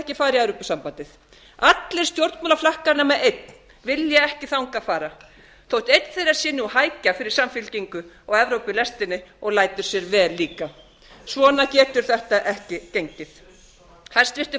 ekki fara í evrópusambandið allir stjórnmálaflokkar nema einn vilja ekki þangað fara þótt einn þeirra sé nú hækja fyrir samfylkingu og evrópulestina og lætur sér vel líka svona getur þetta ekki gengið hæstvirtur